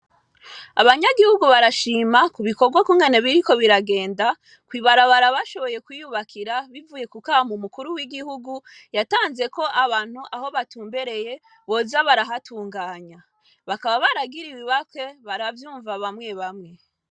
Abanyagihugu barashima ku bikorwa kungane biriko biragenda koibarabarabashoboye kuyubakira bivuye ku kaba mu mukuru w'igihugu yatanzeko abantu aho batumbereye boza barahatunganya bakaba baragira ibibakwe baravyumva bamwe bamwe.